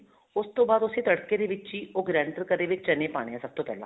ਉਸ ਤੋਂ ਬਾਅਦ ਉਸੇ ਤੜਕੇ ਦੇ ਵਿੱਚ ਹੀ ਉਹ grander ਕਰੇ ਵੇ ਚਨੇ ਪਾਣੇ ਹੈ ਸਭ ਤੋਂ ਪਹਿਲਾਂ